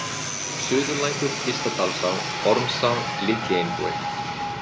Suðurlækur, Ystadalsá, Ormsá, Litlieinbúi